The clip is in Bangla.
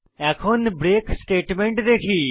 এখন ব্রেক স্টেটমেন্ট দেখি